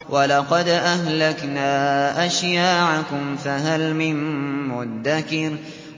وَلَقَدْ أَهْلَكْنَا أَشْيَاعَكُمْ فَهَلْ مِن مُّدَّكِرٍ